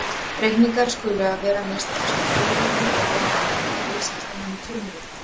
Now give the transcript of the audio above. Reikningar skulu vera að minnsta kosti í þríriti og á að afhenda viðskiptamanni frumrit.